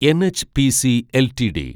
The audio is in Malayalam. NHPC LTD